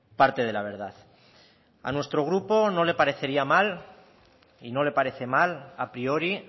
parte de la verdad a nuestro grupo no le parecería mal y no le parece mal a priori